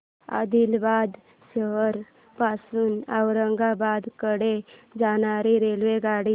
आदिलाबाद शहर पासून औरंगाबाद कडे जाणारी रेल्वेगाडी